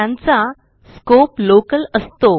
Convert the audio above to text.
त्यांचा scope local असतो